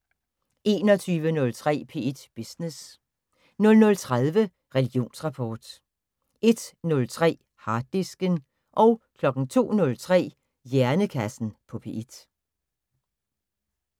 21:03: P1 Business 00:30: Religionsrapport 01:03: Harddisken 02:03: Hjernekassen på P1